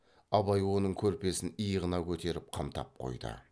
абай оның көрпесін иығына көтеріп қымтап қойды